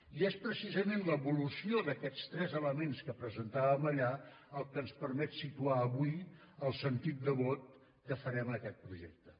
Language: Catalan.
i és precisament l’evolució d’aquests tres elements que presentàvem allà el que ens permet situar avui el sentit de vot que farem en aquest projecte